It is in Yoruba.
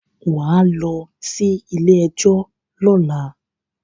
Wà á lọ sí ilé-ẹjọ́ lọ́la.